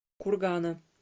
кургана